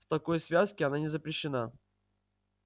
в такой связке она не запрещена